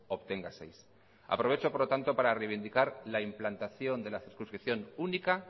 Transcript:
obtenga seis aprovecho por lo tanto para reivindicar la implantación de la circunscripción única